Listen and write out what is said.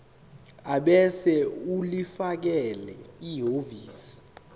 ebese ulifakela ehhovisi